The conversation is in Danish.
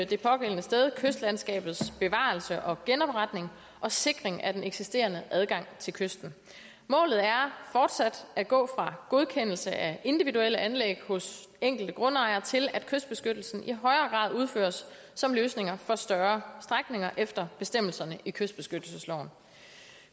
det pågældende sted kystlandskabets bevarelse og genopretning og sikring af den eksisterende adgang til kysten målet er fortsat at gå fra godkendelse af individuelle anlæg hos enkelte grundejere til at kystbeskyttelsen i højere grad udføres som løsninger for større strækninger efter bestemmelserne i kystbeskyttelsesloven